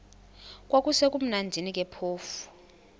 kwakusekumnandi ke phofu